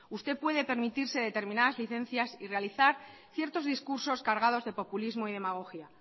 usted puede permitirse determinadas licencias y realizar ciertos discursos cargados de populismo y demagogia